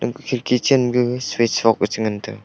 khirki chen ma gaga switch box a che ngan tega.